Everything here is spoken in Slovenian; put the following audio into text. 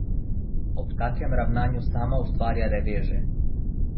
Ob takem ravnanju sama ustvarja reveže.